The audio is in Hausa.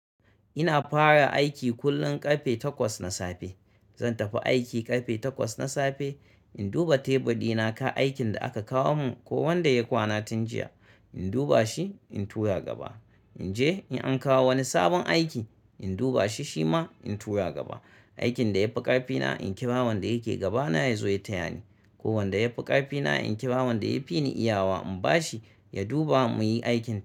Ina fara aiki kullum ƙarfe takwas na safe. Zan tafi aiki ƙarfe takwas na safe, in duba tebur ɗina ka aikin da aka kawo mun ko wanda ya kwana tun jiya, in duba shi, in tura gaba. In je in an kawo wani sabon aiki, in duba shi shi ma, in tura gaba. Aikin da ya fi ƙarfi na, in kira wanda yake gaba na ya zo ya taya ni. Ko wanda ya fi ƙarfi na, in kira wanda ya fi ni iyawa in ba shi, ya duba mu yi aikin.